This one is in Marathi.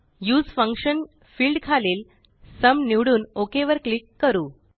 उसे फंक्शन फील्ड खालील सुम निवडून ओक वर क्लिक करू